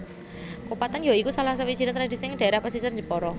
Kupatan ya iku salah sawijiné tradisi ing dhaérah pesisir Jepara